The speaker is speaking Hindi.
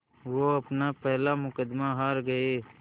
वो अपना पहला मुक़दमा हार गए